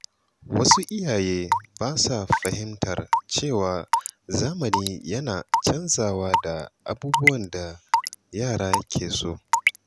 Wasu iyaye ba sa fahimtar cewa zamani yana canzawa da abubuwan da yara ke so.